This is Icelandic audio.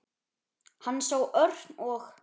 Hann sá Örn og